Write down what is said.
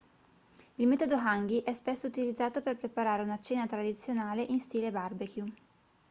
il metodo hangi è spesso utilizzato per preparare una cena tradizionale in stile barbecue